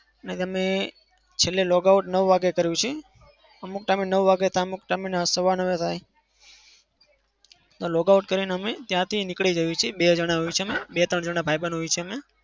છેલ્લે logout નવ વાગે કરીએ છીએ. અમુક time એ નવ વાગે થાય અમુક time એ સવા નવ એ થાય. logout કરીને અમે ત્યાંથી નીકળી જઈએ છીએ. બે જણા હોઈએ છીએ અમે. બે-ત્રણ જણા ભાઈબંધ હોઇએ છીએ અમે.